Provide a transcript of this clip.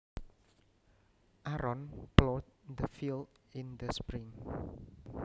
Aaron plowed the field in the spring